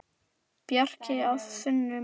Bjarki og Sunna María.